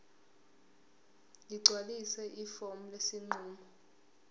ligcwalise ifomu lesinqumo